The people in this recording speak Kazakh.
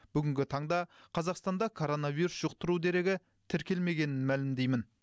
бүгінгі таңда қазақстанда коронавирус жұқтыру дерегі тіркелмегенін мәлімдеймін